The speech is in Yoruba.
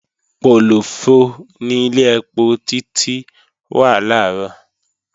Pòlòfọ ni ilé ẹpo Títí wà làárọ̀